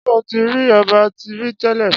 Ṣé ó tí rí ọba rí télè?